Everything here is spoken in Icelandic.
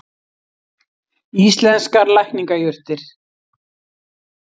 Íslenskar lækningajurtir.